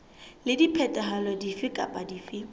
le diphetoho dife kapa dife